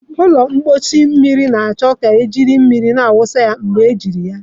Ụlọ mposi mmiri na-achọ ka ị na-eji mmiri wụsa ya mgbe ejiri ya.